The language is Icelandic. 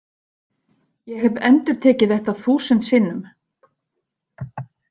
Ég hef endurtekið þetta þúsund sinnum.